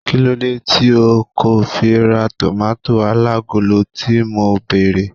kilode ti o ko fi ra tomato alagolo ti mo bere